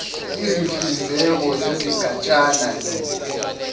izinhlinzeko zezigatshana no